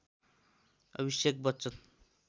Abhishek Bachchan